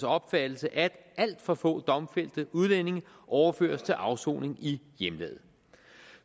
opfattelse at alt for få domfældte udlændinge overføres til afsoning i hjemlandet